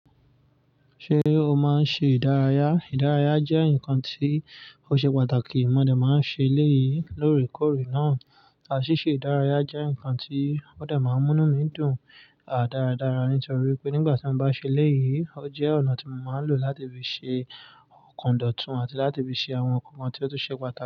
Ṣé o máa ń ṣe ìdárayá? Ìdárayá jẹ́ nǹkan tí ó ṣe pàtàkì. Mo dẹ̀ máa ń ṣe léyìí lóòrèkóòrè náà. A ṣíṣe ìdárayá jẹ́ nǹkan tí oo dẹ̀ máa ń mú inú mi dùn dáradára nítorí pé nígbà tí won bá ṣe eléyìí, o jẹ́ ọ̀nà tí mo máa ń lò láti fi ṣe ọ̀kandọ́tun àti láti fi ṣe àwọn nǹkan tí ó túń ṣe pàtàkì.